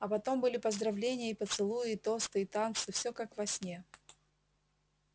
а потом были поздравления и поцелуи и тосты и танцы все как во сне